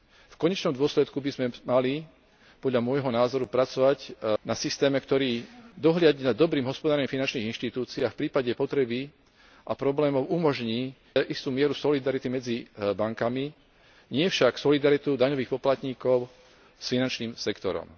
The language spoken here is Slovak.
V konečnom dôsledku by sme mali podľa môjho názoru pracovať na systéme, ktorý dohliadne nad dobrým hospodárením finančných inštitúcií a v prípade potreby a problémov umožní istú mieru solidarity medzi bankami, nie však solidaritu daňových poplatníkov s finančným sektorom.